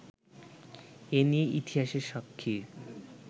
এ নিয়ে ইতিহাসের সাক্ষীর